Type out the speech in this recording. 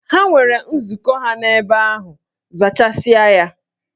Ha nwere nzukọ ha n'ebe ahụ, zachasịa ya!